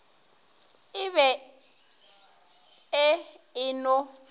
e be e e no